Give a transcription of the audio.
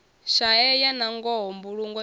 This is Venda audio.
shaeya nangoho mbulungo i do